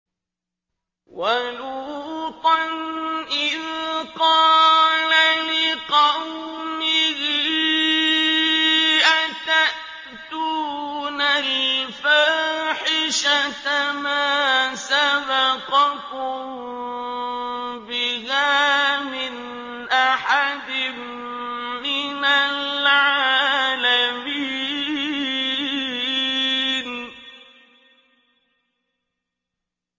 وَلُوطًا إِذْ قَالَ لِقَوْمِهِ أَتَأْتُونَ الْفَاحِشَةَ مَا سَبَقَكُم بِهَا مِنْ أَحَدٍ مِّنَ الْعَالَمِينَ